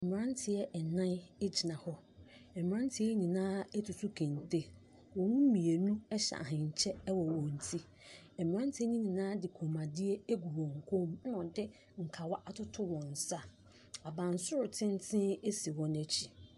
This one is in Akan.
Mmeranteɛ nnan gyina hɔ. Mmeranteɛ yi nyinaa atutu kente. Wɔn mu mmienu hyɛ ahenkyɛ wɔ wɔn ti. Mmeranteɛ no nyinaa de kɔmmuadeɛ agugu wɔn kɔn mu, ɛnna wɔde nkawa atoto wɔn nsa. Abansoro tenten si wɔn akyi.